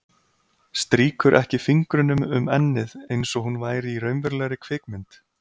Strýkur ekki fingrunum um ennið einsog hún væri í raunverulegri kvikmynd.